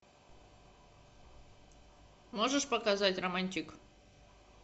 можешь показать романтик